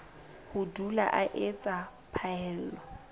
ho dula o etsa phaello